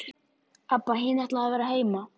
Abba hin ætlaði að vera heima.